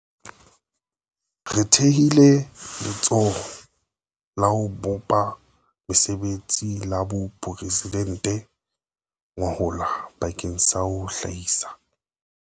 Re thehile Letsholo la ho Bopa Mesebetsi la Boporesi dente gwahola bakeng sa ho hlahisa